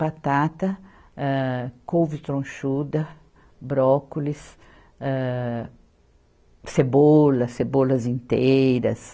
Batata, âh, couve tronchuda, brócolis, âh, cebola, cebolas inteiras.